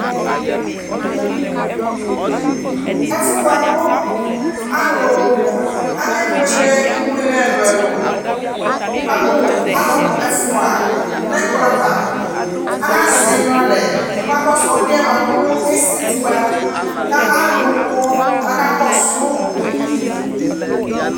Ɛfʋ boa kʋ alʋ akebuele ibuele ɛlʋɛlʋ Wʋkamʋ alʋ ɛfua nʋ ɛkplɔ ava Aaka zɛnyuiɛ alɛ kabakɔsʋ ɔlʋ yɛ boa kʋ esetu ba, ka alʋ kɔ k'akakɔsu